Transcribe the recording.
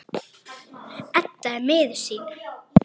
Edda er miður sín.